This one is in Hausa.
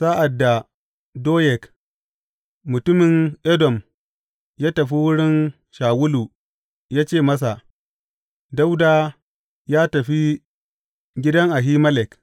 Sa’ad da Doyeg mutumin Edom ya tafi wurin Shawulu ya ce masa, Dawuda ya tafi gidan Ahimelek.